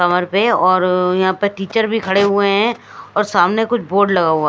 और यहां पे टीचर भी खड़े हुए हैं और सामने कुछ बोर्ड लगा हुआ हैं।